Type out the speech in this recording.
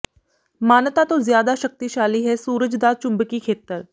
ਮਾਨਤਾ ਤੋਂ ਜ਼ਿਆਦਾ ਸ਼ਕਤੀਸ਼ਾਲੀ ਹੈ ਸੂਰਜ ਦਾ ਚੁੰਬਕੀ ਖੇਤਰ